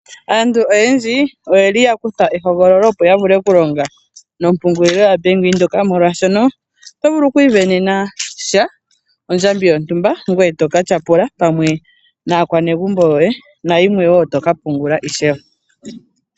Aantu oyendji oyeli yakutha ehogololo opo ya vule okulinga no pungulilo ya bank windhoek . Oto vuku okumona ondjambi yoye yontumba ngoye toka tyapula pamwe naa kwanegumbo yoye nayimwe woo to ka pungula ishewe.